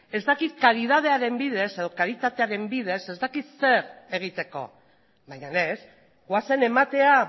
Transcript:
ez dakit karitatearen bidez ez dakit zer egiteko baina ez goazen ematera